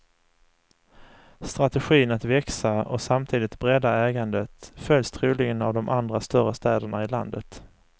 Strategin att växa och samtidigt bredda ägandet följs troligen av de andra större städerna i landet.